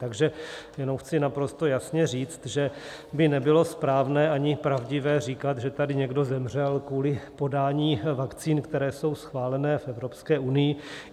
Takže jenom chci naprosto jasně říct, že by nebylo správné ani pravdivé, říkat, že tady někdo zemřel kvůli podání vakcín, které jsou schválené v Evropské unii.